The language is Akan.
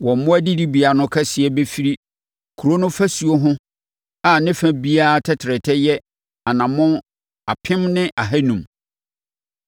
“Wɔn mmoa adidibea no kɛseɛ bɛfiri kuro no afasuo ho a ne fa biara tɛtrɛtɛ yɛ anammɔn apem ne ahanum.